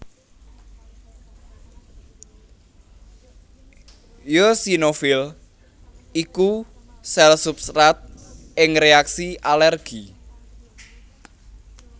Eosinofil iku sèl substrat ing réaksi alèrgi